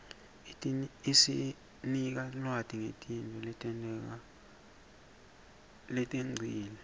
isinika lwati ngetintfo letengcile